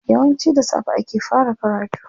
Yawanci da safe ake fara karatu.